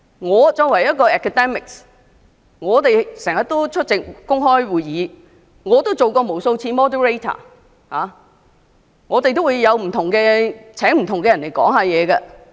我作為一名學者，經常出席公開會議，我也曾出任主持人無數次，亦曾邀請不同人士演講。